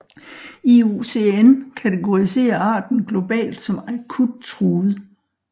IUCN kategoriserer arten globalt som akut truet